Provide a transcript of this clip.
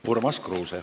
Urmas Kruuse.